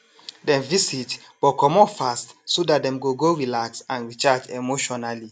dem visit but comot fast so dat dem go go relax and recharge emotionally